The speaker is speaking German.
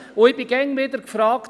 Ich wurde immer wieder gefragt: